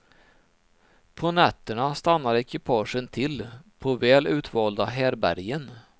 På nätterna stannar ekipagen till på väl utvalda härbärgen.